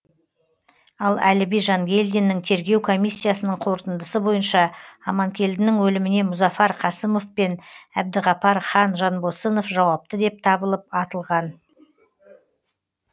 ал әліби жангелдиннің тергеу комиссиясының қорытындысы бойынша аманкелдінің өліміне мұзафар қасымов пен әбдіғапар хан жанбосынов жауапты деп табылып атылған